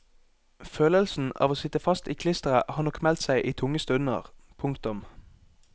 Følelsen av å sitte fast i klisteret har nok meldt seg i tunge stunder. punktum